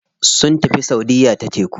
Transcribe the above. Sun tafi saudiya ta teku.